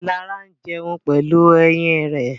Lara jẹun pẹ̀lú eyín rẹ̀.